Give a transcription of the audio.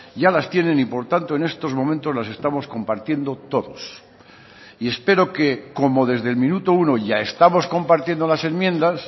ya las tienen y por tanto en estos momentos las estamos compartiendo todos y espero que como desde el minuto uno ya estamos compartiendo las enmiendas